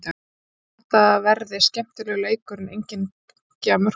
Ég held að þetta verði skemmtilegur leikur en enginn bunki af mörkum.